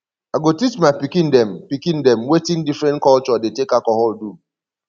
i go teach my pikin dem pikin dem wetin differen culture dey take alcohol do